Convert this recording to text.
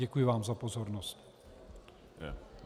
Děkuji vám za pozornost.